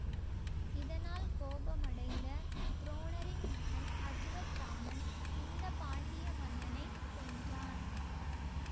இதனால் கோபமடைந்த துரோணரின் மகன் அசுவத்தாமன் இந்த பாண்டிய மன்னனை கொன்றான்